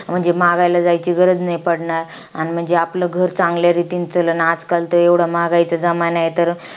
म्हणजे, मागायला जायची गरज नाही पडणार. आणि म्हणजे, आपलं घर चांगल्या रीतीने चालाल. आजकाल तर एवढा महागाईचा जमाना आहे तर.